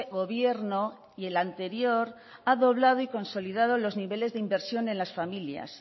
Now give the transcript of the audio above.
gobierno y el anterior ha doblado y consolidado los niveles de inversión en las familias